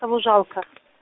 того жалко